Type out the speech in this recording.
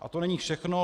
A to není všechno.